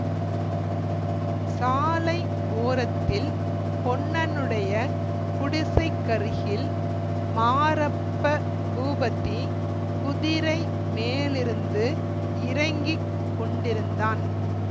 சாலை ஓரத்தில் பொன்னனுடைய குடிசைக்கருகில் மாரப்ப பூபதி குதிரை மேலிருந்து இறங்கி கொண்டிருந்தான்